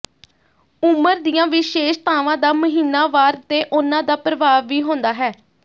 ਉਮਰ ਦੀਆਂ ਵਿਸ਼ੇਸ਼ਤਾਵਾਂ ਦਾ ਮਹੀਨਾਵਾਰ ਤੇ ਉਹਨਾਂ ਦਾ ਪ੍ਰਭਾਵ ਵੀ ਹੁੰਦਾ ਹੈ